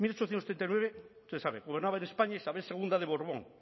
usted sabe gobernaba en españa isabel segundo de borbón